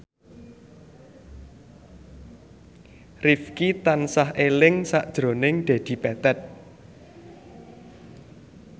Rifqi tansah eling sakjroning Dedi Petet